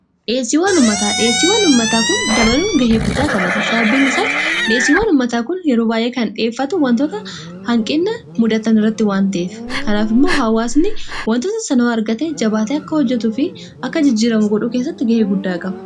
dheessii waanummataa dheessii waanummataa kun dabaluu gahee guddaa taphata sababiin isaas dheessii waanummataa kun yeroo baay'ee kan dhiheffatu wantoota hanqinna mudatan irratti waanteef kanaaf immoo haawaasni wantoota sanoo argate jabaat akka hojjetu fi akka jijjiiramu godhuu kessatti gahee guddaa qaba